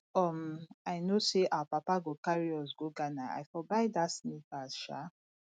if um i know say our papa go carry us go ghana i for buy dat sneakers um